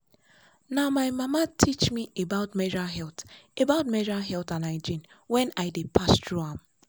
na my mama teach me about menstrual health about menstrual health and hygiene when i dey pass through am.